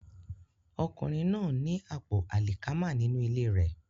Ọkùnrin náà ní àpò àlìkámà nínú ilé rẹ̀